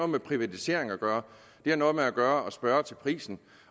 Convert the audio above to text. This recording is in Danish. med privatiseringer at gøre det har noget at gøre med at spørge til prisen